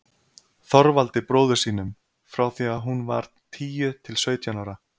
Þorvaldi bróður sínum, frá því að hún var tíu til sautján ára.